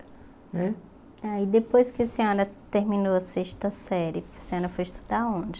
Né Aí depois que a senhora terminou a sexta série, a senhora foi estudar onde?